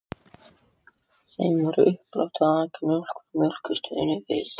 Þeim var uppálagt að aka mjólk frá Mjólkurstöðinni við